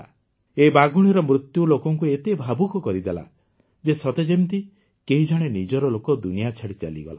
ଏହି ବାଘୁଣୀର ମୃତ୍ୟୁ ଲୋକଙ୍କୁ ଏତେ ଭାବୁକ କରିଦେଲା ଯେ ସତେଯେମିତି କେହି ଜଣେ ନିଜର ଲୋକ ଦୁନିଆ ଛାଡି ଚାଲିଗଲା